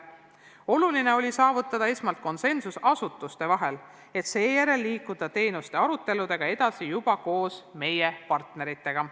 Oluline oli saavutada esmalt konsensus asutuste vahel, et seejärel liikuda teenuste aruteludega edasi juba koos meie partneritega.